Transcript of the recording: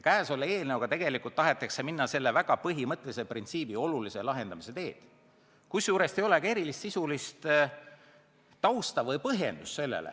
Käesoleva eelnõuga tahetakse tegelikult minna selle väga põhimõttelise printsiibi olulise laiendamise teed, kusjuures selleks ei ole erilist sisulist tausta ega põhjendust.